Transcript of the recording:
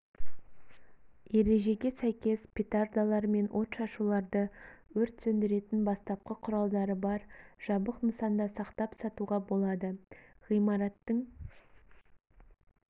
ережеге сәйкес петардалар мен отшашуларды өрт сөндіретін бастапқы құралдары бар жабық нысанда сақтап сатуға болады ғимараттың